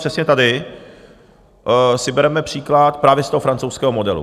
Přesně tady si bereme příklad právě z toho francouzského modelu.